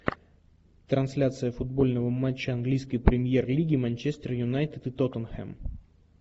трансляция футбольного матча английской премьер лиги манчестер юнайтед и тоттенхэм